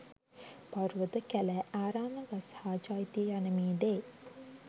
පර්වත, කැලෑ, ආරාම, ගස් හා චෛත්‍ය යන මේ දේ